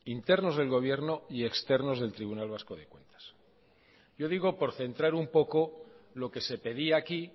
internos del gobierno y externos del tribunal vasco de cuentas yo digo por centrar un poco lo que se pedía aquí